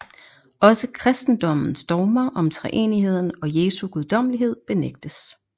Også kristendommens dogmer om treenigheden og Jesu guddommelighed benægtes